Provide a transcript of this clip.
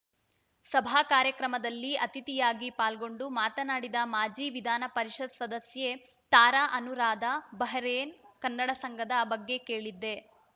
ಸಭಾ ಕಾರ್ಯಕ್ರಮದಲ್ಲಿ ಅತಿಥಿಯಾಗಿ ಪಾಲ್ಗೊಂಡು ಮಾತನಾಡಿದ ಮಾಜಿ ವಿಧಾನ ಪರಿಷತ್‌ ಸದಸ್ಯೆ ತಾರಾ ಅನೂರಾಧ ಬಹರೇನ್‌ ಕನ್ನಡ ಸಂಘದ ಬಗ್ಗೆ ಕೇಳಿದ್ದೆ